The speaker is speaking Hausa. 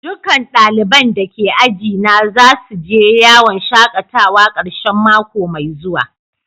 Dukan dalibain da ke aji na za su je yawon shakatawa karshen mako mai zuwa.